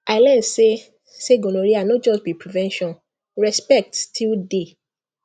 i learn say say gonorrhea no just be prevention respect still dey